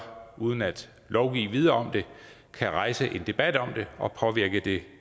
uden at lovgive videre om det kan rejse en debat om det og påvirke det